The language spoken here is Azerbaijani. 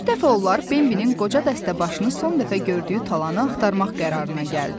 Bir dəfə onlar Benbinin qoca dəstəbaşını son dəfə gördüyü talanı axtarmaq qərarına gəldilər.